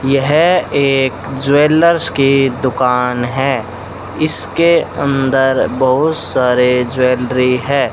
यह एक ज्वेलर्स की दुकान है इसके अंदर बहुत सारे ज्वेलरी है।